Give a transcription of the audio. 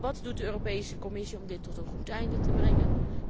Wat doet de Europese Commissie om dit tot een goed einde te brengen?